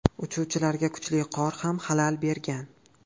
Uchuvchilarga kuchli qor ham xalal bergan.